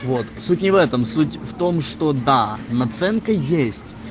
вот суть не в этом суть в том что да наценка есть